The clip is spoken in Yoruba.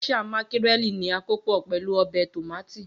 Geisha mákírẹ̀lì ní akópò pẹ̀lu ọbẹ̀ tómátì.